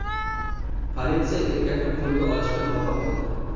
Politsiya erkakni qo‘lga olishga muvaffaq bo‘ldi.